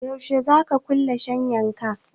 Yaushe za ka kulle shiyyan ka?